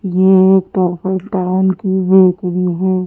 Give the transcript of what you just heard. ये की बेकरी है।